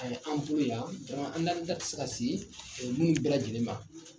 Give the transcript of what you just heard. Ayi an bolo yan an da tɛ se ka se minnu bɛɛ lajɛlen ma.